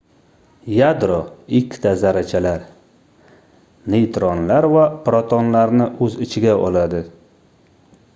yadro ikkita zarrachalar neytronlar va protonlarni oʻz ichiga oladi